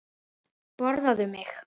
Borðaðu mig!